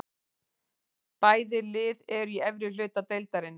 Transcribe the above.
Bæði lið eru í efri hluta deildarinnar.